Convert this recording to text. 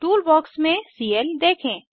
tool box में CL देखें